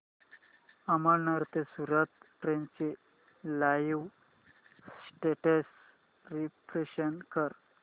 अमळनेर ते सूरत ट्रेन चे live status refresh कर